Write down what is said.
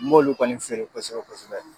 N m'olu kɔni feere kosɛbɛ kosɛbɛ.